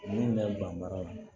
Min bɛ ban baara la